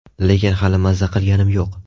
Lekin hali mazza qilganim yo‘q.